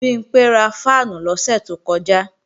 Bimpé ra fáànù lọ́sẹ̀ tó kọjá